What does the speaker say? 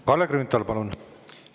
Kalle Grünthal, palun!